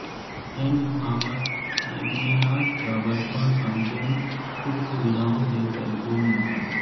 sent Thomas Aquinas का बचपन सम्पूर्ण सुखसुविधाओं से परिपूर्ण था